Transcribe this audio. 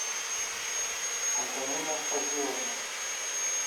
антонина фазиловна